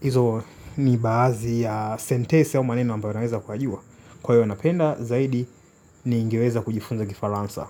Izo ni baadhi ya sentensi aa maneno ambayo naweza kuyajua. Kwa hiyo napenda zaidi ningeweza kujifunza kifaransa.